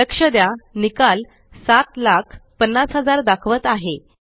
लक्ष द्या निकाल 750000 दाखवत आहे